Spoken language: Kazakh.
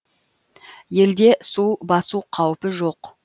елде су басу қаупі жоқ